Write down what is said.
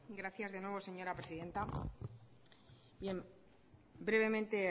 gracias de nuevo señora presidenta brevemente